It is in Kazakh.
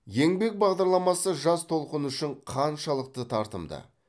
еңбек бағдарламасы жас толқын үшін қаншалықты тартымды